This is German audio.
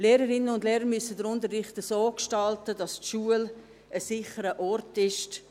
Lehrerinnen und Lehrer müssen den Unterricht so gestalten, dass die Schule ein sicherer Ort ist.